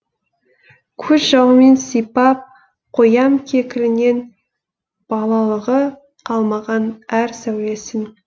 көз жауымен сипап қоям кекілінен балалығы қалмаған әр сәулесін